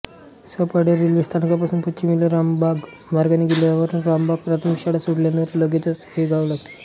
Saphale railway स्थानकापासून पश्चिमेला रामबाग मार्गाने गेल्यावर रामबाग प्राथमिक शाळा सोडल्यानंतर लगेचच हे गाव लागते